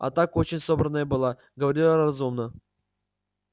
а так очень собранная была говорила разумно